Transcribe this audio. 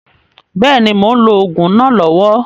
Bẹ́ẹ̀ni, mò ń lò òògùn náà lọ́wọ́